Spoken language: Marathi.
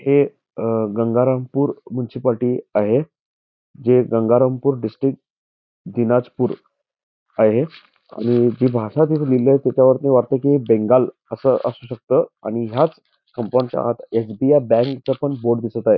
हे गंगारामपूर मुनसिपालटी आहे जे गंगारामपूर डिस्ट्रिक्ट आहे आणि जी भाषा त्याच्यावर लिहिली आहे त्याच्यावरून वाटत कि हे बेंगाल असू शकत आणि ह्याच कंपाऊंड च्या आत एस. बी. आय. बँक चा पण बोर्ड दिसत आहे.